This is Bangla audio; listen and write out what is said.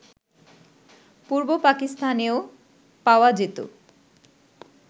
পূর্ব পাকিস্তানেও পাওয়া যেত